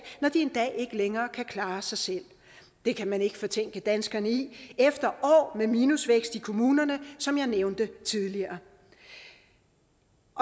når de en dag ikke længere kan klare sig selv det kan man ikke fortænke danskerne i efter år med minusvækst i kommunerne som jeg nævnte tidligere